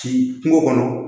Ci kungo kɔnɔ